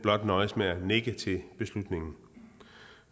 nøjedes blot med at nikke til beslutningen